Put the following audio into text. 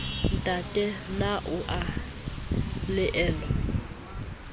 ntate na o a elellwa